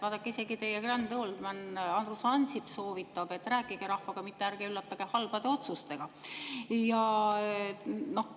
Vaadake, isegi teie grand old man Andrus Ansip soovitab: rääkige rahvaga, mitte ärge üllatage halbade otsustega.